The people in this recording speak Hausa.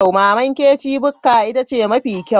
Mama Nkechis Bukka ita ce mafi kyau.